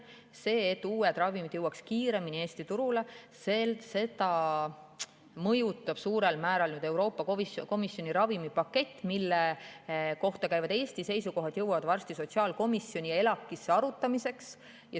Seda, et uued ravimid jõuaks kiiremini Eesti turule, mõjutab suurel määral Euroopa Komisjoni ravimipakett, mille kohta käivad Eesti seisukohad jõuavad varsti sotsiaalkomisjoni ja ELAK‑isse arutamiseks.